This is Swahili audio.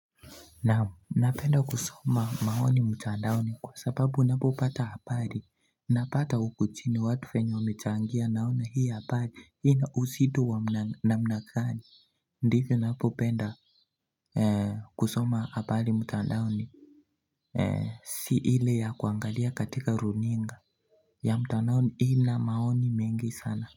Naam, napenda kusoma maoni mtandaoni kwa sababu unapo pata habari Napata uku chini watu vyenye wamechangia naona hii habari, hii na usitu wa namna gani Ndivyo napo penda kusoma habari mtandaoni Si hile ya kuangalia katika runinga ya mtandaoni hii na maoni mengi sana.